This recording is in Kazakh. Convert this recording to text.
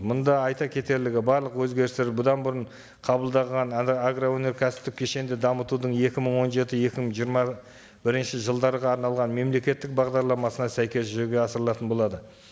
мында айта кетерлігі барлық өзгерістер бұдан бұрын қабылдаған агроөнеркәсіптік кешенді дамытудың екі мың он жеті екі мың жиырма бірінші жылдарға арналған мемлекеттік бағдарламасына сәйкес жүзеге асырылатын болады